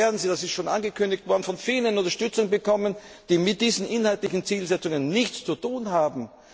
Denn morgen werden Sie das ist schon angekündigt worden von vielen Unterstützung bekommen, die mit diesen inhaltlichen Zielsetzungen nichts zu tun haben.